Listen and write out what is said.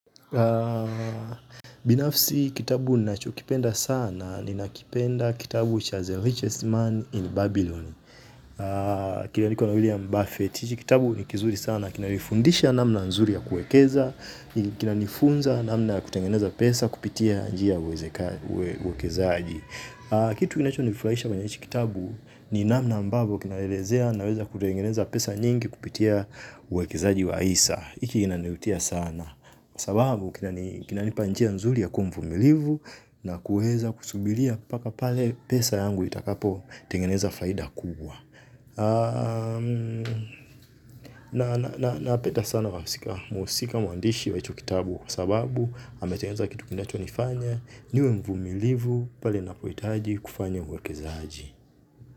Binafsi kitabu ni nacho kipenda sana. Ni nakipenda kitabu The Richest Man in Babylon. Kina niko na William Buffett. Kitabu ni kizuri sana. Kina nifundisha namna nzuri ya kuekeza. Kina nifunza namna kutengeneza pesa. Kupitia njia uwekezaaji. Kitu kinacho nifurahisha kwenye hichi kitabu ni namna ambavyo kinaelezea na weza kutengeneza pesa nyingi. Kupitia uwekezaaji wa isa iki nani vutia sana kwa sababu kina nipa njia nzuli ya kumvumilivu na kuweza kusubilia paka pale pesa yangu itakapo tengeneza faida kuwa napeda sana wa sika muusika muandishi wa hicho kitabu kwa sababu ametengeneza kitu kinacho nifanya niwe mvumilivu pale napoitaji kufanya uwekezaaji.